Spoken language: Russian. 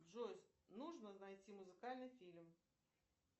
джой нужно найти музыкальный фильм